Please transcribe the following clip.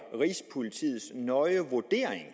rigspolitiets nøje vurdering